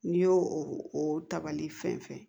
N'i y'o o ta bali fɛn fɛn